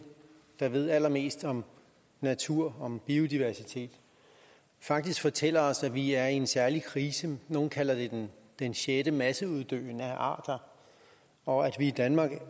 der ved allermest om natur om biodiversitet faktisk fortæller os at vi er i en særlig krise nogle kalder det den sjette masseuddøen af arter og at vi i danmark